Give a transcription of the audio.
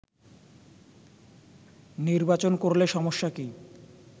নির্বাচন করলে সমস্যা কি